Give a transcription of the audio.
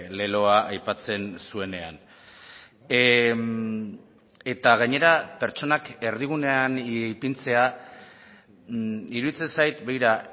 leloa aipatzen zuenean eta gainera pertsonak erdigunean ipintzea iruditzen zait begira